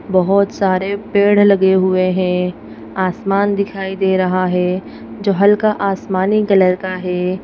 बहोत सारे पेढ लगे हुए है आसमान दिखाई दे रहा है जो हल्का आसमानी कलर का है।